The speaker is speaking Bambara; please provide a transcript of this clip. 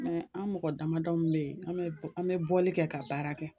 Mɛ an mɔgɔ damadɔ mun bɛ yen an bɛ an bɛ bɔli kɛ ka baara kɛ.